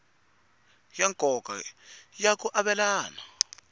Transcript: ya nkoka ya ku avelana